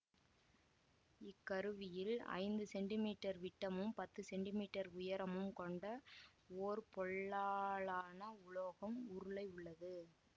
இக்கருவியில் ஐந்து centimetre விட்டமும் பத்து சென்டி மீட்டர் உயரமும் கொண்ட ஒர் பொல்லாலான உலோக உருளை உள்ளது